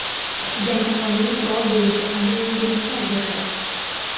Yangi qonun qurol bo‘yicha qanday yengilliklar beradi?